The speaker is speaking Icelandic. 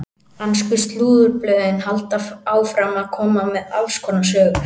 Ensku slúðurblöðin halda áfram að koma með alls konar sögur.